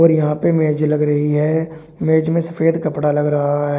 और यहां पे मेज लग रही है मेज में सफेद कपड़ा लग रहा है।